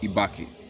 I b'a kɛ